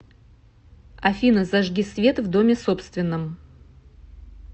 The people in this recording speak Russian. афина зажги свет в доме собственном